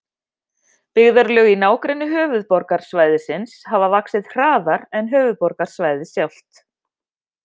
Byggðarlög í nágrenni höfuðborgarsvæðisins hafa vaxið hraðar en höfuðborgarsvæðið sjálft.